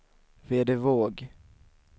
Vedevåg